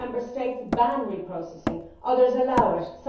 Some Member States ban reprocessing, others allow it